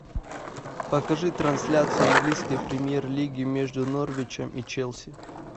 покажи трансляцию английской премьер лиги между норвичем и челси